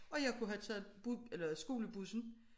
Og jeg kunne have taget eller skolebussen